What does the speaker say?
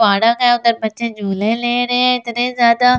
park हैं उधर बच्चे झोले ले रहे हैं इतने ज्यादा --